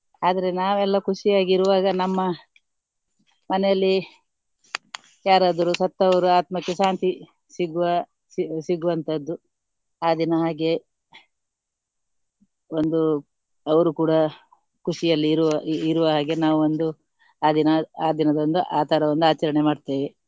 ಆದ್ರೆ ನಾವೆಲ್ಲ ಖುಷಿಯಾಗಿ ಇರುವಾಗ ನಮ್ಮ ಮನೆಯಲ್ಲಿ ಯಾರಾದ್ರೂ ಸತ್ತವರು ಆತ್ಮಕ್ಕೆ ಶಾಂತಿ ಸಿಗುವ ಸಿಗು~ ಸಿಗುವಂತದ್ದು ಆ ದಿನ ಹಾಗೆ ಒಂದು ಅವರು ಕೂಡ ಖುಷಿಯಲ್ಲಿ ಇರುವ ಇರುವ ಹಾಗೆ ನಾವೊಂದು ಆ ದಿನ ಆ ದಿನದೊಂದು ಆ ತರ ಒಂದು ಆಚರಣೆ ಮಾಡ್ತೇವೆ.